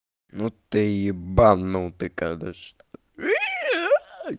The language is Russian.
ну ты ебанутый конечно